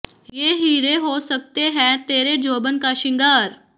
ਯੇਹ ਹੀਰੇ ਹੋ ਸਕਤੇ ਹੈਂ ਤੇਰੇ ਜੋਬਨ ਕਾ ਸ਼ਿੰਗਾਰ